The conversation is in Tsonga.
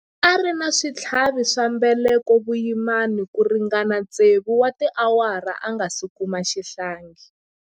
A ri na switlhavi swa mbeleko vuyimani ku ringana tsevu wa tiawara a nga si kuma xihlangi.